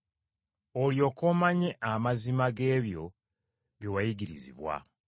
Olyoke omanye amazima g’ebyo bye wayigirizibwa.